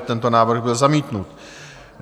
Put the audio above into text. Tento návrh byl zamítnut.